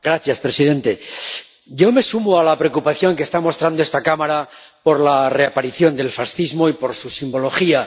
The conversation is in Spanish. Señor presidente, yo me sumo a la preocupación que está mostrando esta Cámara por la reaparición del fascismo y por su simbología.